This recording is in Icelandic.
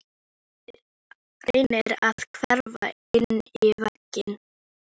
Mátti heita að hann ætti salinn á tímabili.